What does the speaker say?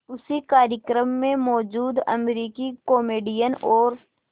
उसी कार्यक्रम में मौजूद अमरीकी कॉमेडियन और